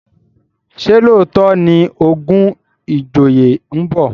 ṣe looto ní ogun ìjòyè nbọ?